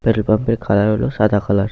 Petrol pump -এর colour হলো সাদা কালার ।